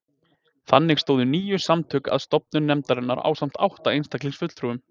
Þannig stóðu níu samtök að stofnun nefndarinnar ásamt átta einstaklingsfulltrúum